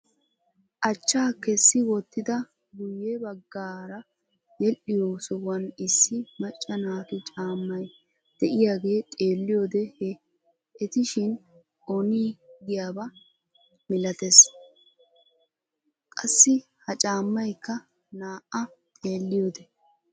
Achchaa kessi wottida guyye baggaara yedhiyoo sohuwaan issi macca naatu caammay de'iyaagee xeelliyoode he, etishin ongiyaaba milatees. qassi ha caammaykka naa"a xeelliyoode.